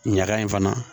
Ɲaga in fana